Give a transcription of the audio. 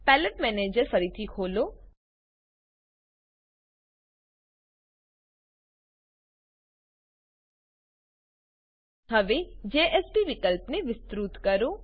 palette manager palette manager ફરીથી ખોલો હવે જેએસપી વિકલ્પને વિસ્તૃત કરો